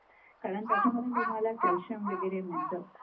कारण त्यांच्यामधून तुम्हाला कॅलशियम वगैरे मिळत.